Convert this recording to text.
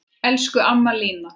Elsku amma Lína.